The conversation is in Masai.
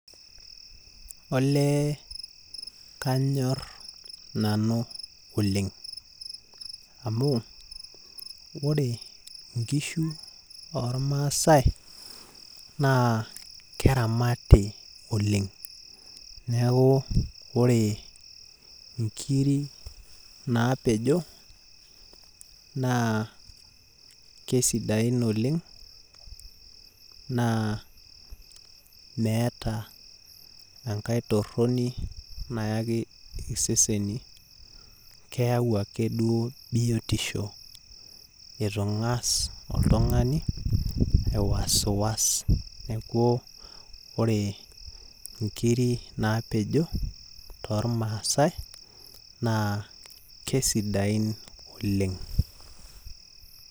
Olee kanyor nanu oleng. Amu ore nkishu ormaasai, naa keramati oleng. Neeku ore inkiri napejo, naa kesidain oleng, naa meeta enkae torroni naaki iseseni. Keeu ake duo biotisho itu ng'as oltung'ani aiwaswas. Neeku ore inkiri napejo tormaasai, naa kesidain oleng.